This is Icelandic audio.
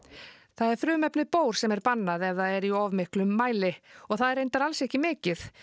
það er frumefnið sem er bannað ef það er í of miklum mæli og það er reyndar alls ekki mikið